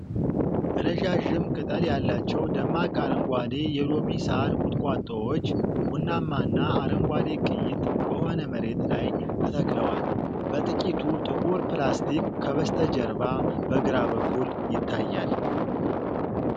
ረዣዥም ቅጠል ያላቸው ደማቅ አረንጓዴ የሎሚ ሳር ቁጥቋጦዎች ቡናማና አረንጓዴ ቅይጥ በሆነ መሬት ላይ ተተክለዋል። በጥቂቱ ጥቁር ፕላስቲክ ከበስተጀርባ በግራ በኩል ይታያል።